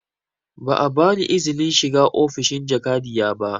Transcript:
Ba a ba ni izinin shiga ofishin jakadiya ba